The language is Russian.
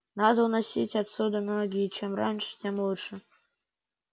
надо уносить отсюда ноги и чем раньше тем лучше